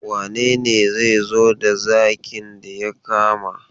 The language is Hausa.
Wane ne zai zo da zakin da ya kama?